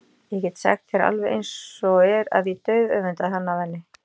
Ég get sagt þér alveg eins og er að ég dauðöfundaði hann af henni.